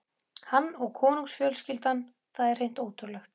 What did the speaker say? Hann og konungsfjölskyldan, það var hreint ótrúlegt.